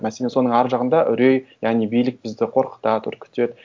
мәселе соның ар жағында үрей яғни билік бізді қорқытады үркітеді